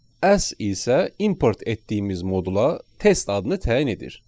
"As" isə import etdiyimiz modula test adını təyin edir.